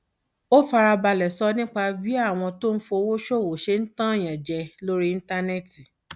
ó fara balẹ sọ nípa bí àwọn tó ń fi owó ṣòwò ṣe ń tan èèyàn jẹ lórí íńtánẹẹtì